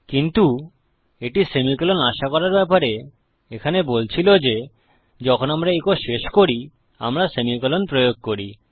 কিন্তু এটি সেমিকোলন আশা করার ব্যাপারে এখানে বলছিল যে যখন আমরা ইকো শেষ করি আমরা সেমিকোলন প্রয়োগ করি